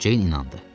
Ceyn inandı.